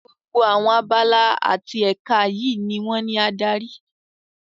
Gbogbo àwọn abala àti èka yìí ni wón ní adarí.